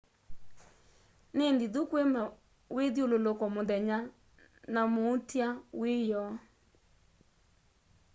ni nthithu kwi mawithyululuko muthenya na muutia wiyoo